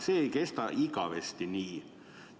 See ei kesta igavesti nii.